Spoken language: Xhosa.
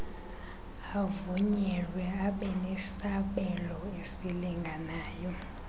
avunyelwe abenesabelo esilinganayo